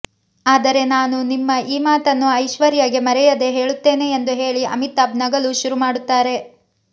ಆದರೆ ನಾನು ನಿಮ್ಮ ಈ ಮಾತನ್ನು ಐಶ್ವರ್ಯಗೆ ಮರೆಯದೆ ಹೇಳುತ್ತೇನೆ ಎಂದು ಹೇಳಿ ಅಮಿತಾಬ್ ನಗಲು ಶುರು ಮಾಡುತ್ತಾರೆ